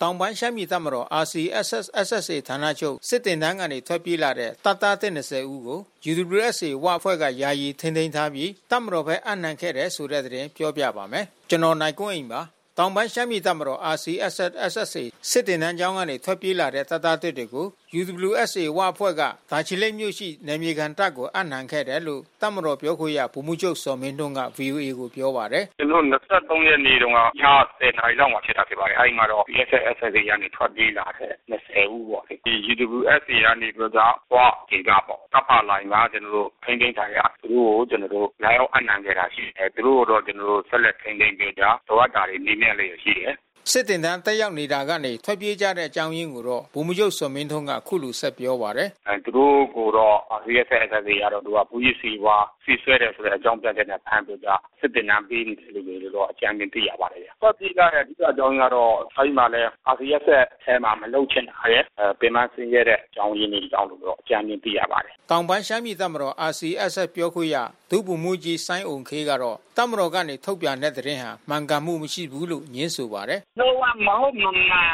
တောင်ပိုင်းရှမ်းပြည်တပ်မတော် RCSS/SSA ဌာနချုပ် စစ်သင်တန်းကနေ ထွက်ပြေးလာတဲ့ တပ်သားသစ် ၂၀ ဦးကို UWSA ဝအဖွဲ့က ယာယီထိန်းသိမ်းထားရှိပြီး တပ်မတော်ဘက် အပ်နှံခဲ့ပါတယ်။ အပြည့်အစုံကို နိုင်ကွန်းအိန် စုစည်း တင်ပြထားပါတယ်။ တောင်ပိုင်းရှမ်းပြည်တပ်မတော် RCSS/SSA စစ်သင်တန်းကျောင်းကနေ ထွက်ပြေးလာတဲ့ တပ်သားသစ်တွေကို UWSA ဝအဖွဲ့က တာချီလိတ်မြို့ရှိ နယ်မြေခံတပ်ကို အပ်နှံခဲ့တယ်လို့ တပ်မတော်ပြောခွင့်ရ ဗိုလ်မှူးချုပ် ဇော်မင်းထွန်းက ဗွီအိုအေကို ပြောပါတယ်။ “ကျနော်တို့ ၂၃ ရက်နေ့တုန်းက ည ၁၀ နာရီလောက်မှာ ဖြစ်ပါတယ်။ RCSS/SSA ကနေ ထွက်ပြေးလာတယ် ၂၀ ဦးပေါ့။ ဒီ UWSA ကနေပြီးတော့ ဝဒေသပေါ့ တပ်ဖာလိုင်မှာ ထိန်းသိမ်းခံရ၊ သူတို့ကို လာရောက်အပ်နှံခဲ့တာ ရှိတယ်။ သူတို့ကို ကျနော်တို့ ဆက်လက်ထိန်းသိမ်းပြီးတော့ လိုအပ်တာတွေ မေးမြန်းလျက်ရှိတယ်။” စစ်သင်တန်း တက်ရောက်နေတာကနေ ထွက်ပြေးကြတဲ့ အကြောင်းရင်းကို ဗိုလ်မှူးချုပ် ဇော်မင်းထွန်းက အခုလို ဆက်ပြောပါတယ်။ “သူတို့ကိုတော့ RCSS/SSA က မူးယစ်ဆေးဝါး ဆေးစွဲတယ်ဆိုတဲ့ အကြောင်းပြချက်နဲ့ ဖမ်းပြီးတော့ စစ်သင်တန်း ပေးနေတယ်လို့တော့ အကြမ်းဖျင်း သိရပါတယ်။ ထွက်ပြေးရတဲ့ အဓိကအကြောင်းအရင်းကတော့ RCSS/SSA ထဲမှာ မလုပ်ချင်တာရယ်၊ ပင်ပန်းဆင်းရဲတဲ့ အကြောင်းရင်းတွေကြောင့်လို့ အကြမ်းဖျင်း သိရပါတယ်။” တောင်ပိုင်းရှမ်းပြည်တပ်မတော် RCSS ပြောခွင့်ရ ဒုဗိုလ်မှူးကြီး စိုင်းအုမ်ခေးကတော့ တပ်မတော်ကနေ ထုတ်ပြန်တဲ့ သတင်းဟာ မှန်ကန်မှုမရှိဘူးလို့ ငြင်းဆိုပါတယ်။ “လုံး၀ မဟုတ်မမှန်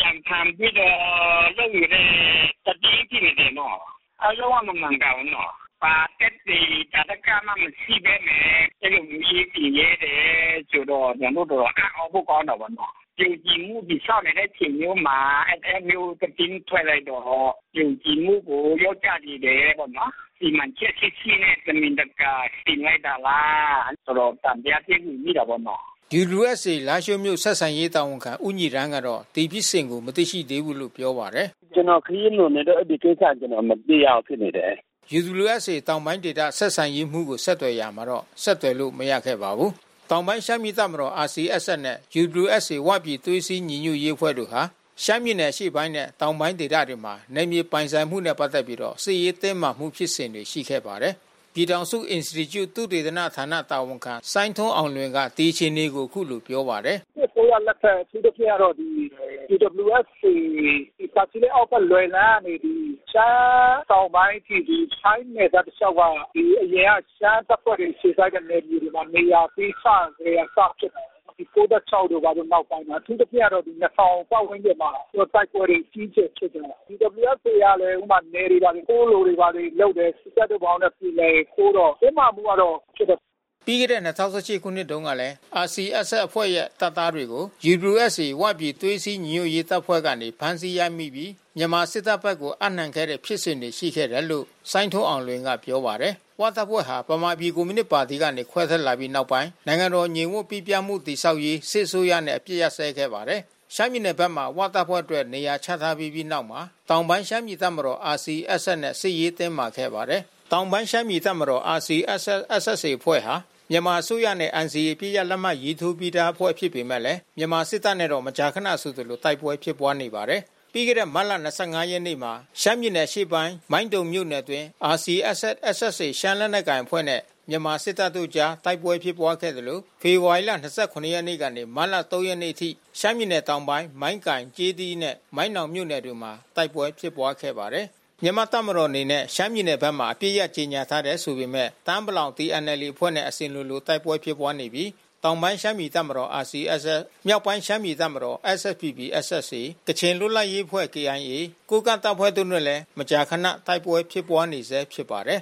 ကြံဖန်ပြီးတော့ လုပ်နေတဲ့သတင်း ဖြစ်နေတယ်နော်။ လုံး၀ မမှန်ကန်ဘူးနော်။ ဘာသက်သေ သာဓကမှ မရှိဘဲနဲ့ အဲဒီလိုမျိုး ရေးတင်ရဲတယ်ဆိုတော့ ကျနော်တို့ တော်တော်အံ့သြဖို့ ကောင်းတာပေါ့နော်။ ယုံကြည်မှုတည်ဆောက်နေတဲ့ အချိန်မျိုးမှာ အဲဒီလိုမျိုး သတင်းထွက်လိုက်တော့ ယုံကြည်မှုကို လျော့ကျစေတယ်ပေါ့နော်။ စီမံချက်ရှိရှိနဲ့ တမင်တကာ တင်လိုက်တာလား တော်တော် သံသယဖြစ်နေမိတာပေါ့နော်။” UWSA လားရှိုးမြို့ ဆက်ဆံရေးတာဝန်ခံ ဦးညီရမ်းကတော့ ဒီဖြစ်စဉ်ကို မသိရှိသေးဘူးလို့ ပြောပါတယ်။ “ကျနော် ခရီးလွန်နေလို့ အဲဒီကိစ္စ ကျနော် မသိရဘူးဖြစ်နေတယ်။” UWSA တောင်ပိုင်းဆက်ဆံရေးမှူးကို ဆက်သွယ်ရာမှာ ဆက်သွယ်လို့ မရခဲ့ပါဘူး။ တောင်ပိုင်းရှမ်းပြည်တပ်မတော် RCSS နဲ့ UWSA ဝပြည်သွေးစည်းညီညွတ်ရေး တပ်ဖွဲ့ဟာ ရှမ်းပြည်နယ် အရှေ့ပိုင်းနဲ့ တောင်ပိုင်းဒေသတွေမှာ နယ်မြေပိုင်ဆိုင်မှုနဲ့ ပတ်သက်ပြီး စစ်ရေးတင်းမာမှု ဖြစ်စဉ်တွေ ရှိခဲ့ပါတယ်။ ပြည်ထောင်စုအင်စတီကျု သုတေသနဌာန တာဝန်ခံ စိုင်းထွန်းအောင်လွင်က ဒီအခြေအနေကို အခုလိုပြောပါတယ်။ “စစ်အစိုးရလက်ထက် အထူးသဖြင့်ကတော့ UWSA တာချီလိတ်အောက်ဘက် လွယ်လန်းကနေပြီး ရှမ်းတောင်ပိုင်းအထိ ထိုင်းနယ်စပ်တလျှောက်က အရင်က ရှမ်းတပ်ဖွဲ့တွေ အခြေစိုက်တဲ့ နယ်မြေတွေမှာ နေရာပေးစကတည်းက စဖြစ်တာပေါ့နော်။ ဒီ ၉၆ တို့ နောက်ပိုင်းမှာ အထူးသဖြင့်ကတော့ ၂၀၀၀ ပတ်ဝန်းကျင်မှာ တိုက်ပွဲတွေ အကြီးအကျယ်ဖြစ်တယ်။ UWSA ကလည်း နယ်တွေဘာတွေ တိုးလိုတာတွေ လုပ်တယ်။ စစ်တပ်နဲ့ ဘာနဲ့ ပြေလည်ရင် တိုးတော့ တင်းမာမှုကတော့ ဖြစ်တယ်။” ပြီးခဲ့တဲ့ ၂၀၁၈ ခုနှစ်တုန်းကလည်း RCSS အဖွဲ့ရဲ့ တပ်သားတွေကို UWSA ဝပြည်သွေးစည်းညီညွတ်ရေး တပ်ဖွဲ့ကနေ ဖမ်းဆီးရမိပြီး မြန်မာစစ်တပ်ဘက်ကို အပ်နှံခဲ့တဲ့ ဖြစ်စဉ်တွေ ရှိခဲ့တယ်လို့ စိုင်းထွန်းအောင်လွင်က ပြောပါတယ်။ ဝတပ်ဖွဲ့ဟာ ဗမာပြည်ကွန်မြူနစ်ပါတီကနေ ခွဲထွက်လာပြီးနောက်ပိုင်း နိုင်ငံတော်ငြိမ်ဝပ်ပိပြားမှု တည်ဆောက်ရေး စစ်အစိုးရနဲ့ အပစ်အခတ် ရပ်စဲခဲ့ပါတယ်။ ရှမ်းပြည်နယ်ဘက်မှာ ဝတပ်ဖွဲ့အတွက် နေရာချထားပေးပြီးနောက်မှာ တောင်ပိုင်းရှမ်းပြည်တပ်မတော် RCSS နဲ့ စစ်ရေးတင်းမာခဲ့ပါတယ်။ တောင်ပိုင်းရှမ်းပြည်တပ်မတော် RCSS/SSA အဖွဲ့ဟာ မြန်မာအစိုးရနဲ့ NCA အပစ်ရပ် လက်မှတ်ရေးထိုးပြီးသားအဖွဲ့ ဖြစ်ပေမယ့် မြန်မာစစ်တပ်နဲ့တော့ မကြာခနဆိုသလို တိုက်ပွဲဖြစ်ပွားနေပါတယ်။ ပြီးခဲ့တဲ့ မတ်လ ၂၅ ရက်နေ့မှာ ရှမ်းပြည်နယ်အရှေ့ပိုင်း မိုင်းတုံမြို့နယ်အတွင်း RCSS/SSA ရှမ်းလက်နက်ကိုင်အဖွဲ့နဲ့ မြန်မာ့တပ်မတော်တို့အကြား တိုက်ပွဲဖြစ်ပွားခဲ့သလို ဖေဖော်ဝါရီလ ၂၇ ရက်နေ့ကနေ မတ်လ ၃ ရက်နေ့အထိ ရှမ်းပြည်နယ်တောင်ပိုင်း မိုင်းကိုင်၊ ကျေးသီးနဲ့ မိုင်းနောင်မြို့နယ်တို့မှာ တိုက်ပွဲဖြစ်ပွားခဲ့ပါတယ်။ မြန်မာတပ်မတော်အနေနဲ့ ရှမ်းပြည်နယ်ဘက်မှာ အပစ်ရပ် ကြေညာထားတယ် ဆိုပေမယ့် တအာင်းပလောင် TNLA အဖွဲ့နဲ့ အစဉ်လိုလို တိုက်ပွဲဖြစ်ပွားနေပြီး တောင်ပိုင်းရှမ်းပြည်တပ်မတော် RCSS၊ မြောက်ပိုင်းရှမ်းပြည်တပ်မတော် SSPP/SSA၊ ကချင်လွတ်လပ်ရေးအဖွဲ့ KIA၊ ကိုးကန့်တပ်ဖွဲ့တို့နဲ့လည်း မကြာခန တိုက်ပွဲဖြစ်ပွားနေဆဲ ဖြစ်ပါတယ်